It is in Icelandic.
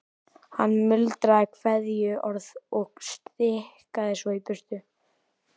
Hann muldraði kveðjuorð og stikaði svo í burtu.